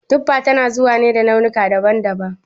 Tuffa tana zuwa ne da launuka daban daban